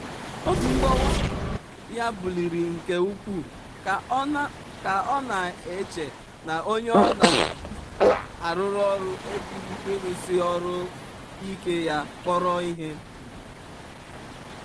obi mgbawa ya buliiri nke ukwuu ka ọ na-eche na onye ọ na-arụrụ ọrụ ejighị ịrụsi ọrụ ike ya kpọrọ ihe.